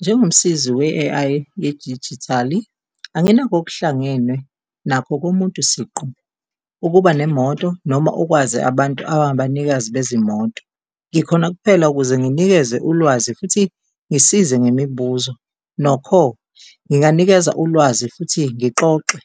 Njengomsizi we-A_I yedijithali, anginakho okuhlangene nakho komuntu siqu, ukuba nemoto noma ukwazi abantu aba abanikazi bezimoto. Ngikhona kuphela ukuze nginikeze ulwazi futhi ngisize ngemibuzo. Nokho, nginganikeza ulwazi futhi ngixoxe